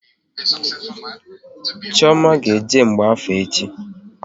Chioma will go for divination tomorrow